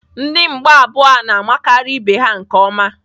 Ndị mgba abụọ a na-amakịrị ibe ha nke ọma.